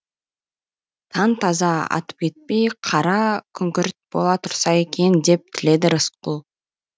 таң таза атып кетпей қара күңгірт бола тұрса екен деп тіледі рысқұл